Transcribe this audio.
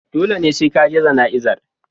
Dole ne sai ka je jana'izar.